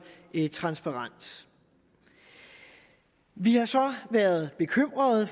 transparens vi har så været bekymret